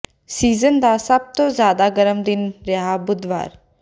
season ਦਾ ਸਭ ਤੋਂ ਜ਼ਿਆਦਾ ਗਰਮ ਦਿਨ ਰਿਹਾ ਬੁੱਧਵਾਰ